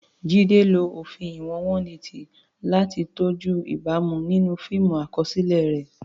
Jide lo òfin ìwọ̀n 180 láti tọ́jú ìbámu nínú fíìmù àkọsílẹ̀ rẹ̀.